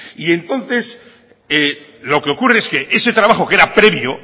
y entonces lo que ocurre es que ese trabajo que era previo